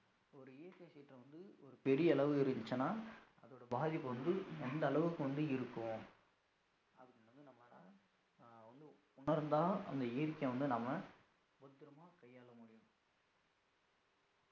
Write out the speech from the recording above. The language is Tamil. ஒரு இயற்கை சீற்றம் வந்து ஒரு பெரிய அளவு இருந்துச்சுன்னா அதோட பாதிப்பு வந்து எந்த அளவுக்கு வந்து இருக்கும் அது நம்ம வேணா உணர்ந்தா அந்த இயற்கையை வந்து நாம பத்திரமா கையால முடியும்